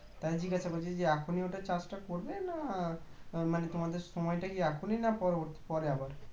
তাই জিজ্ঞাসা করছি যে এখনই ওটা চাষটা করবে না মানে তোমাদের সময়টা এখনই না পর~ পরে আবার